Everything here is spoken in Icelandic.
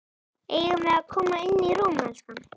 Eigum við að koma inn í rúm, elskan?